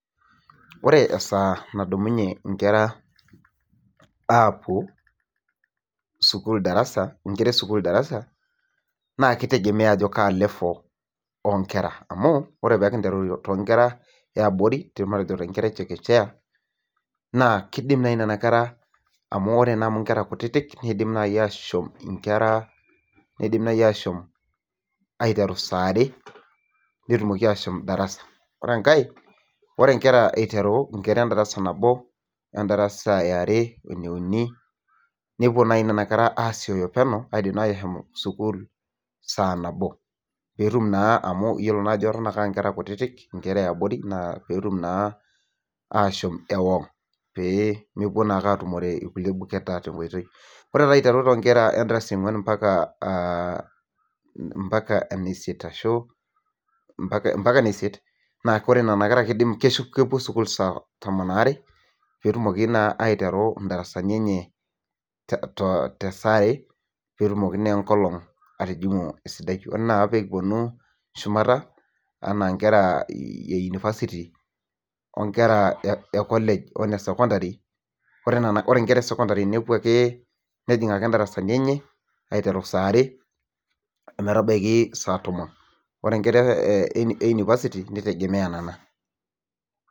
Ore esaa nadumunye inkera aapwo sukuul darasa, inkera e sukuul darasa naa kitegemea ajo kaa level oo nkera. Amu ore pee kinteru too nkera e abori, matejo too nkera e chekechea naa kiidim naai nena kera, amu ore naa amu inkera kutiti nidim naai aashom inkera, nidim naai ashom aiteru saare netumoki aashom darasa. Ore enkae, ore inkera iteru inkera endarasa nabo, endarasa e are, ene uni, nepwo naai be a kera aasiyo peno, apwo naai sukuul saa nabo peetum naa amu iyiolo ajo eton ake aa nkera kutiti, nkera e abori naa peetum naa aashom ewang pee mepwo naa ake atumore irkulie buketa tenkoitoi. Ore taa aiteru toonkera endarasa e ong'wan ompaka ene isiet ashu ompaka ene isiet naa ore nena kera kepwo sukuul saa tomon aare peetumoki naa aiteru indarasani enye te saare, peetumoki naa enkolong atijing'u esidai. Ore naa peekipwonu shumata enaa inkera e university o nker e college o nesokondari, ore nkera esokondari nepwo ake nejing'ake indarasani enye saare ometabaiki saa tomon. Ore inkera e university nitegemea nena